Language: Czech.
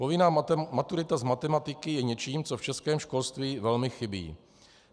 Povinná maturita z matematiky je něčím, co v českém školství velmi chybí.